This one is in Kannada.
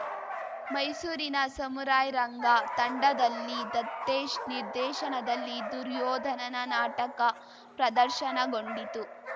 ಮೈಸೂರಿನ ಸಮುರಾಯ್‌ ರಂಗ ತಂಡದಲ್ಲಿ ದತ್ತೇಶ್ ನಿರ್ದೇಶನದಲ್ಲಿ ದುರ್ಯೋಧನನ ನಾಟಕ ಪ್ರದರ್ಶನಗೊಂಡಿತು